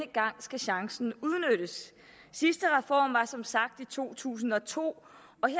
gang skal chancen udnyttes sidste reform var som sagt i to tusind og to